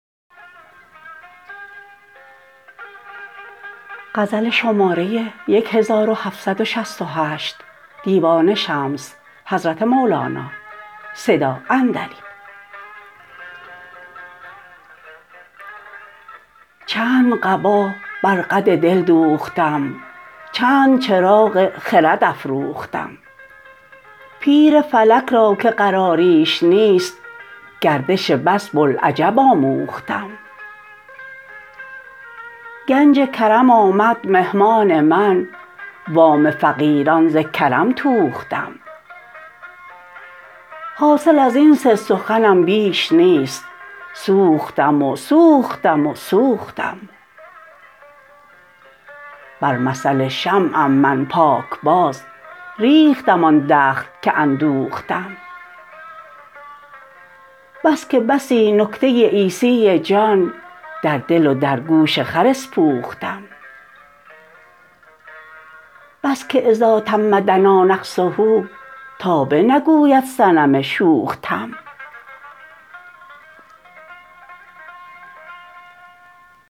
چند قبا بر قد دل دوختم چند چراغ خرد افروختم پیر فلک را که قراریش نیست گردش بس بوالعجب آموختم گنج کرم آمد مهمان من وام فقیران ز کرم توختم حاصل از این سه سخنم بیش نیست سوختم و سوختم و سوختم بر مثل شمعم من پاکباز ریختم آن دخل که اندوختم بس که بسی نکته عیسی جان در دل و در گوش خر اسپوختم بس که اذا تم دنا نقصه تا بنگوید صنم شوخ تم